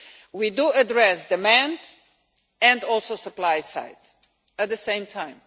We do address demand and also the supply side at the same time.